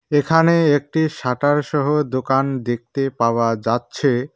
এখানে একটি শাটারসহ দোকান দেখতে পাওয়া যাচ্ছে।